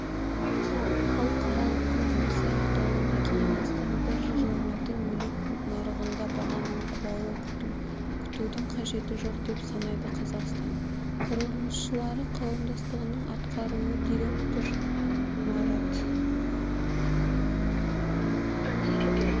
халықаралық көрмесі аяқталғаннан кейін астанада жылжымайтын мүлік нарығында бағаның құлауын күтудің қажеті жоқ деп санайды қазақстан құрылысшылары қауымдастығының атқарушы директоры марат